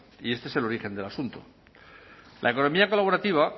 y este es el origen del asunto la economía colaborativa